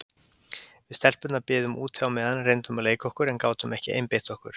Við stelpurnar biðum úti á meðan, reyndum að leika okkur en gátum ekki einbeitt okkur.